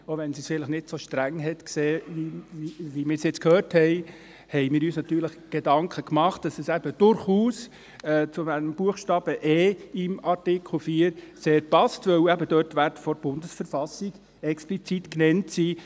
Auch wenn sie es nicht so streng gesehen hat, wie wir es nun gehört haben, haben wir uns Gedanken gemacht, dass es eben durchaus zu Buchstabe e im Artikel 4 sehr passt, weil ebendort die Werte der BV explizit genannt sind.